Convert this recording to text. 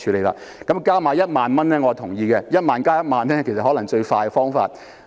我贊同多派1萬元，在1萬元之上再加1萬元，其實可能是最快的方法。